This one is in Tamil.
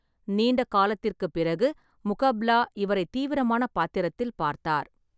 நீண்ட காலத்திற்குப் பிறகு முகப்லா இவரை தீவிரமான பாத்திரத்தில் பார்த்தார்.